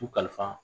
U kalifa